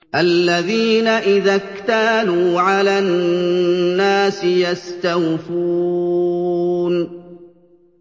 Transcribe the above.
الَّذِينَ إِذَا اكْتَالُوا عَلَى النَّاسِ يَسْتَوْفُونَ